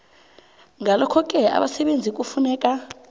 ngalokhoke abasebenzi kufuneka